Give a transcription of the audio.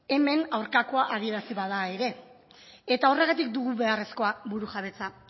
hemen aurkakoa adierazi bada ere eta horregatik dugu beharrezkoa burujabetza